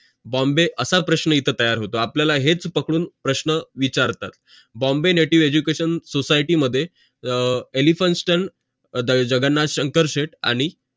bombay असा प्रश्न इथे तयार होतो आपल्याला हेच पकडून प्रश्न विचारतात bombay native education society मध्ये elphinstone जगन्नाथ शंकर सेट आणि